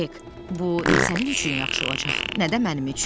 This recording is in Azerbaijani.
Hek, bu nə sənin üçün yaxşı olacaq, nə də mənim üçün.